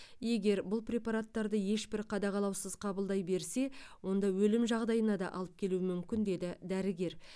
егер бұл препараттарды ешбір қадағалаусыз қабылдай берсе онда өлім жағдайына да алып келуі мүмкін деді дәрігер